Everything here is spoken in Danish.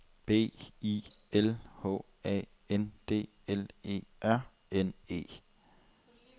B I L H A N D L E R N E